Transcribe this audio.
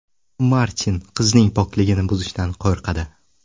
Martin qizning pokligini buzishdan qo‘rqadi.